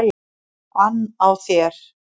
ann á mér.